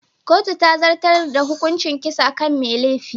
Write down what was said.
Kotu ta zartar da hukuncin kisa kan mai laifin.